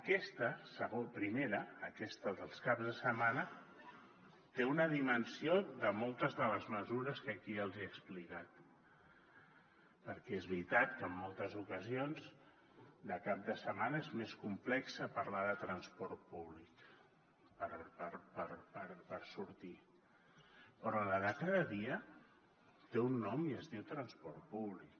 aquesta primera aquesta dels caps de setmana té una dimensió de moltes de les mesures que aquí els hi he explicat perquè és veritat que en moltes ocasions de cap de setmana és més complex parlar de transport públic per sortir però la de cada dia té un nom i es diu transport públic